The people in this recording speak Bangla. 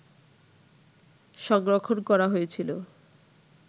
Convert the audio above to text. সংরক্ষণ করা হয়েছিল